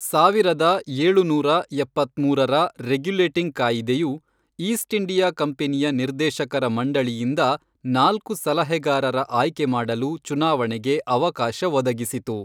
ಸಾವಿರದ ಏಳುನೂರ ಎಪ್ಪತ್ಮೂರರ ರೆಗ್ಯುಲೇಟಿಂಗ್ ಕಾಯಿದೆಯು, ಈಸ್ಟ್ ಇಂಡಿಯಾ ಕಂಪನಿಯ ನಿರ್ದೇಶಕರ ಮಂಡಳಿಯಿಂದ ನಾಲ್ಕು ಸಲಹೆಗಾರರ ಆಯ್ಕೆ ಮಾಡಲು ಚುನಾವಣೆಗೆ ಅವಕಾಶ ಒದಗಿಸಿತು.